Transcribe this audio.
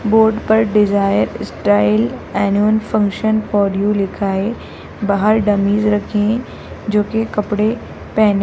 board पर desire style annual function for you लिखा है बाहर डमीज रखी हैं जो कि कपड़े पहने --